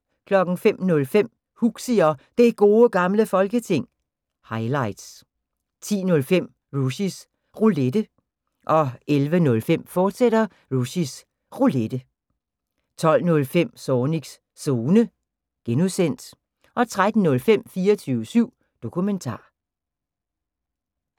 05:05: Huxi og Det Gode Gamle Folketing – highlights 10:05: Rushys Roulette 11:05: Rushys Roulette, fortsat 12:05: Zornigs Zone (G) 13:05: 24syv Dokumentar